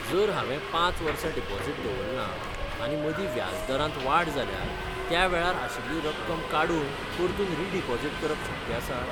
जर हांवे पांच वर्सां डिपॉझिट दवरलां, आनी मदीं व्याजदरांत वाड जाल्यार, त्यावेळार आशिल्ली रक्कम काडून परतून रिडिपॉझिट करप शक्य आसा?